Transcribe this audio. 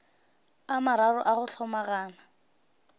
a mararo a go hlomagana